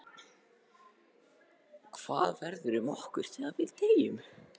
Axel: Hvað verður um okkur þegar við deyjum?